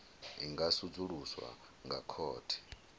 i nga sedzuluswa nga khothe